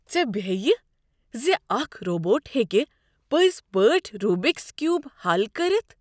ژےٚ بٮ۪ہیہِ ز اکھ روبوٹ ہیٚکہ پٔزۍ پٲٹھۍ روبکس کیوب حل کٔرتھ؟